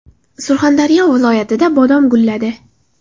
Surxondaryo viloyatida bodom gulladi.